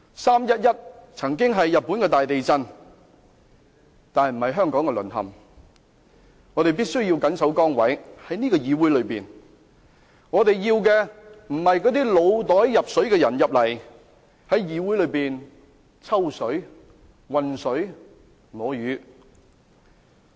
"三一一"曾是日本大地震，不是香港淪陷，我們必須緊守崗位，在這個議會內，我們要的不是那些腦袋入水的人在議會內"抽水"、渾水摸魚。